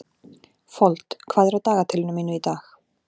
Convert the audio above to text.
Fold, hvað er á dagatalinu mínu í dag?